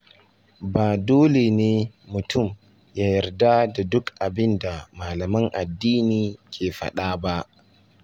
Ba dole ne mutum ya yarda da duk abin da malaman addini ke faɗa ba.